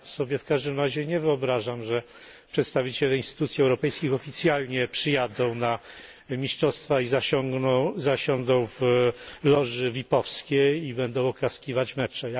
Ja sobie w każdym razie nie wyobrażam, że przedstawiciele instytucji europejskich oficjalnie przyjadą na mistrzostwa, zasiądą w loży vipowskiej i będą oklaskiwać mecze.